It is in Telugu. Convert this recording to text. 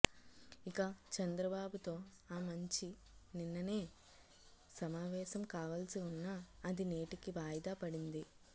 ఇక చంద్రబాబుతో ఆమంచి నిన్ననే సమావేశం కావల్సి ఉన్నా అది నేటికి వాయిదా పడింది